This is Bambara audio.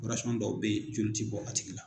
dɔw bɛ ye joli tɛ bɔ a tigi la.